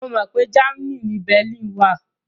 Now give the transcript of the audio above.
Mo mọ pé Germany ni Berlin wà